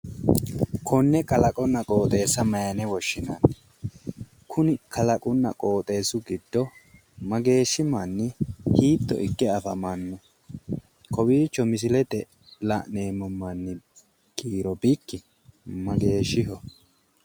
Konne kalaqonna qooxeessa maayiine woshshinanni? kalaqunna qooxeessu giddo mageeshshi manni hiitto ikke afamanno? kowiicho misilete la; neemmo manni kiiro bikki mageeshshiho?